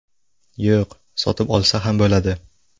Yo‘q, sotib olsa ham bo‘ladi.